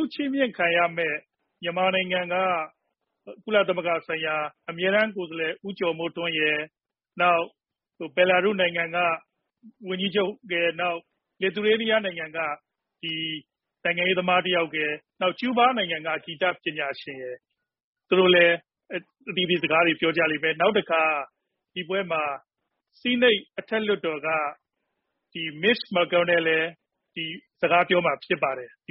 ုချီးမြှင့်ခံရတဲ့ မြန်မာနိုင်ငံက ကုလသမဂ္ဂ ဆိုင်ရာ အမြဲတမ်း ကိုယ်စားလှယ် ဦးကျော်မိုးထွန်းရယ်၊ နောက် ဘဲလာရုစ် နိုင်ငံက ဝန်ကြီးချုပ်ရယ်၊ နောက် Lithuania နိုင်ငံက နိုင်ငံရေးသမား တယောက်ရယ်၊ နောက် ကျူးဘား နိုင်ငံက ဂီတပညာရှင်ရယ် သူတို့လည်း အသီးသီး စကားတွေ ပြောကြလိမ့်မယ်။ ဒီပွဲမှာ ဆီးနိတ် အထက်လွှတ်တော်က Mitch McConnell လည်း စကားပြောမှာ ဖြစ်ပါတယ်။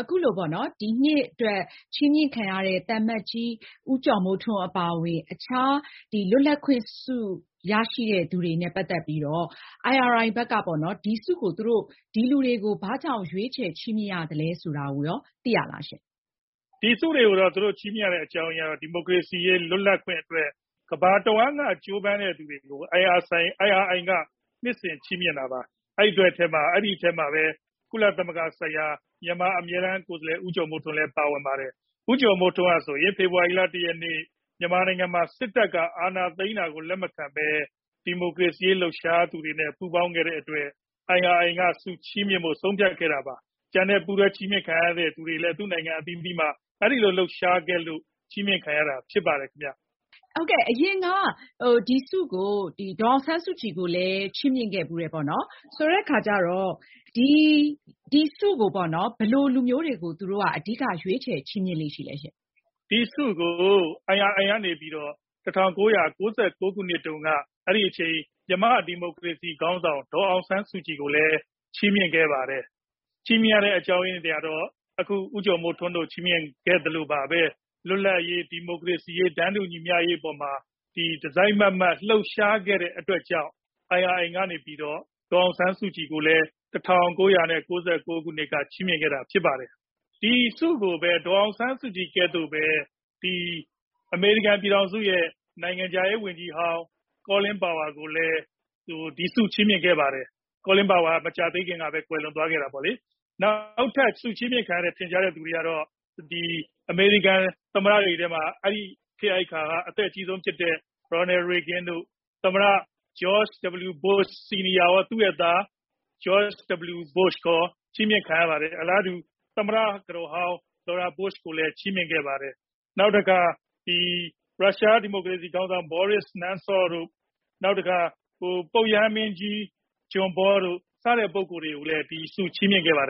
အခုလိုပေါ့နော် ဒီနှစ်အတွက် ချီးမြှင့်ခံရတဲ့ အထဲမှာ သံအမတ်ကြီး ဦးကျော်မိုးထွန်း အပါအဝင် အခြား လွတ်လပ်ခွင်ဆု ရရှိတဲ့ လူတွေနဲ့ ပတ်သက်ပြီးတော့ IRI ဘက်က ဒီဆုတွေကို ဒီလူတွေကို ဘာကြောင့် ရွေးချယ် ချီးမြှင့်ရသလဲ ဆိုတာကိုရော သိရလားရှင့်။ ဒီဆုတွေကို ချီးမြှင့်ရတဲ့ အကြောင်းရင်းကတော့ ဒီမိုကရေစီ လွတ်လပ်ခွင့်တွေအတွက် ကမ္ဘာတဝန်းက ကြိုးပမ်းသူတွေကို IRI က နှစ်စဉ် ချီးမြှင့်တာပါ။ အဲဒီထဲမှာဘဲ ကုလသမဂ္ဂဆိုင်ရာ မြန်မာအမြဲတမ်းကိုယ်စားလှယ် ဦးကျော်မိုးထွန်းလည်း ပါဝင်ပါတယ်။ ဦးကျော်မိုးထွန်းဟာ ဆိုရင် ဖေဖော်ဝါရီလ ၁ ရက် မြန်မာနိုင်ငံမှာ စစ်တပ်က အာဏာသိမ်းတာကို လက်မခံဘဲ ဒီမိုကရေစီရေး လှုပ်ရှားသူတွေနဲ့ ပူးပေါင်းခဲ့တဲ့ အတွက် IRI က ဆုချီးမြှင့်ဖို့ ဆုံးဖြတ်ခဲ့တာ ဖြစ်ပါတယ်။ ကျန်တဲ့ ပူးတွဲ ဆုချီးမြှင့်ခံရသူတွေလည်း သူ့နိုင်ငံ အသီးသီးမှာ အဲဒီလို လှုပ်ရှားခဲ့လို့ ချီးမြှင့်ခံရတာ ဖြစ်ပါတယ်။ အရင်က ဒီဆုကို ဒေါ်အောင်ဆန်းစုကြည်ကိုလည်း ချီးမြှင့်ခဲ့ဖူးတယ်ပေါ့နော်။ ဆိုတော့ ဒီဆုကို ဘယ်လို လူမျိုးတွေကို သူတို့က ရွေးချယ် ချီးမြှင့်လေ့ ရှိလဲရှင့်။ ဒီဆုကို IRI ကနေ ၁၉၉၉ ခုနှစ်တုန်းက အဲဒီအချိန် မြန်မာ့ ဒီမိုကရေစီ ခေါင်းဆောင် ဒေါ်အောင်ဆန်းစုကြည်ကိုလည်း ချီးမြှင့်ခဲ့ပါတယ်။ ချီးမြှင့်ခဲ့ရတဲ့ အကြောင်းရင်းကတော့ အခု ဦးကျော်မိုးထွန်းတို့ကို ချီးမြှင့်ခဲ့သလိုဘဲ လွတ်လပ်ရေး၊ ဒီမိုကရေစီရေး၊ တန်းတူ ညီမျှရေး အပေါ်မှာ တစိုက်မတ်မတ် လှုပ်ရှားခဲ့တဲ့ အတွက်ကြောင့် IRI က နေပြီးတော့ ဒေါ်အောင်ဆန်းစုကြည်ကိုလည်း ၁၉၉၉ ခုနှစ်က ချီးမြှင့်ခဲ့တာ ဖြစ်ပါတယ်။ ဒီဆုကိုဘဲ ဒေါ်အောင်ဆန်းစုကြည် နည်းတူ အမေရိကန် ပြည်ထောင်စုရဲ့ နိုင်ငံခြားရေါ် ဝန်ကြီးဟောင်း Colin Powell ကိုလည်း ဒီဆု ချီးမြှင့်ခဲ့ပါတယ်။ Colin Powell က မကြာသေးခင်ကဘဲ ကွယ်လွန်သွားခဲ့တာပေါ့လေ။ နောက်ထပ် ဆုချီးမြှင့်ခံရတဲ့ ထင်ရှားတဲ့ သူတွေထဲမှာတော့ အမေရိကန် သမ္မတတွေထဲက အဲဒီခေတ် အဲဒီ အခါက အသက်အကြီးဆုံး ဖြစ်တဲ့ Ronald Reagan တို့၊ နောက် George W Bush Sr. ရော၊ နောက် သူ့ရဲ့ သား George W Bush ရော ချီးမြှင့်ခံရပါတယ်။ အလားတူ သမ္မတကတော်ဟောင်း Laura Bush ကိုလည်း ချီးမြှင့်ခဲ့ပါတယ်။ နောက်တခါ ရုရှားဒီမိုကရေစီခေါင်းဆောင် ဘောရစ် နမ်ဆော့ဗ်၊ ပုပ်ရဟန်းမင်းကြီး ဒုတိယမြောက် ဂျွန်ပေါ တို့ စတဲ့ ပုဂ္ဂိုလ်တွေကိုလည်း ဒီဆု ချီးမြှင့်ခဲ့ပါတယ်